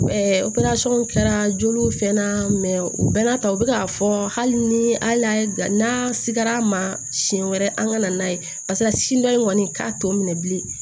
kɛra joli fɛn na u bɛn n'a ta u bi k'a fɔ hali ni a y'a n'a sikɛr'a ma siɲɛ wɛrɛ an kana n'a ye paseke a sin dɔ in kɔni k'a t'o minɛ bilen